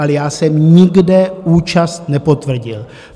Ale já jsem nikde účast nepotvrdil.